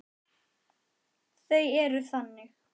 Þau eru þannig.